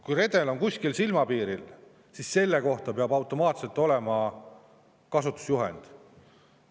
Kui redel on kuskil silmapiiril, siis selle kohta peab automaatselt olema kasutusjuhend.